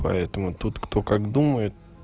поэтому тут кто как думает